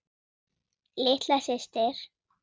Litla systir.